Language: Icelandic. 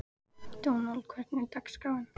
Dónald, hvernig er dagskráin?